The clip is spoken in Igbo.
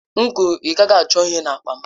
M kwuru, ị gaghị achọ ihe n'akpa m!